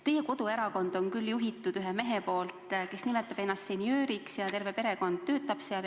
Teie koduerakonda juhib mees, kes nimetab ennast senjööriks, ja terve perekond töötab seal.